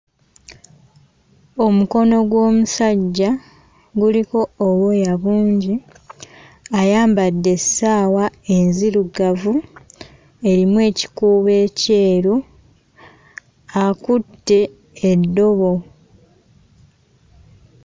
Omukono gw'omusajja guliko obwoya bungi. Ayambadde essaawa enzirugavu erimu ekikuubo ekyeru; akutte eddobo.